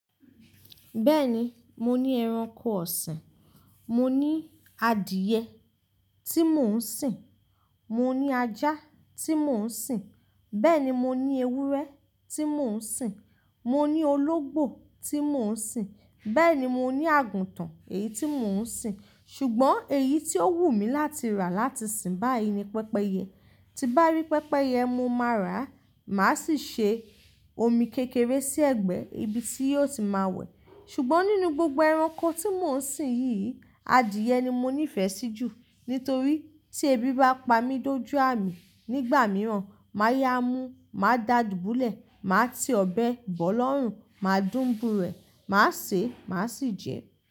Bẹ́ẹ̀ni, mo ní ẹranko ọ̀sìn, mo ní adìẹ tí mò ń sìn, mo ní ajá tí mò ń sìn, bẹ́ẹ̀ ni mo ní ewúrẹ́ tí mò ń sìn, mo ní ológbò tí mò ń sìn, bẹ́ẹ̀ ni mo ní àgùntàn èyí tí mò ń sìn. Ṣùgbọ́n èyí tí ó wù mí láti rà láti sìn báyìí ni pẹ́pẹyẹ. Ti bá rí pẹ́pẹyẹ, mo máa rà á, màá sì ṣe omi kékeré sí ẹ̀gbẹ́ ibi tí yíó ti máa wẹ̀. Ṣùgbọ́n nínú gbogbo ẹranko tí mò ń sìn yìí, adìẹ ni mo nífẹ̀ẹ́ sí jù nítorí tí ebi bá pa mi dójú à mi nígbà mìíràn, máa yá a mú, máa dà á dùbúlẹ̀, màá ti ọbẹ̀ bọ̀ọ̀lọ́rùn, máa dùn bú rẹ̀, màá sè é, màá sì jẹ ẹ́.